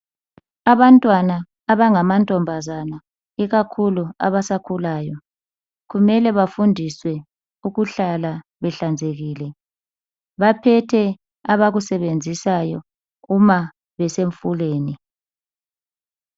Abantwana abangamantombazana ikakhulu abasakhulayo kumele bafundiswe ukuhlala behlanzekile, baphethe abakusebenzisayo uma besemfuleni.